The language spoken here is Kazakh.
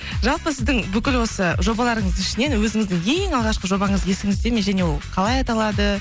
жалпы сіздің бүкіл осы жобаларыңыздың ішінен өзіңіздің ең алғашқы жобаңыз есіңізде ме және ол қалай аталады